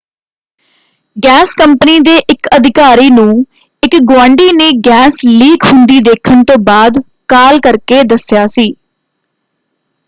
Gas company ਦੇ ਇਕ ਅਧਿਕਾਰੀ ਨੂੰ ਇਕ ਗੁਆਂਢੀ ਨੇ ਗੈਸ ਲੀਕ ਹੁੰਦੀ ਦੇਖਣ ਤੋਂ ਬਾਅਦ ਕਾਲ ਕਰਕੇ ਦੱਸਿਆ ਸੀ।